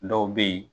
Dɔw bɛ yen